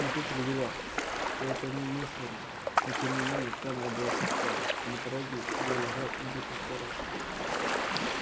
смотритель уверял что это немыслимо но тем не менее камера была пуста а на пороге её лежал убитый сторож